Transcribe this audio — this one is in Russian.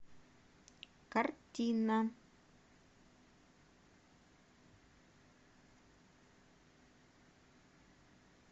картина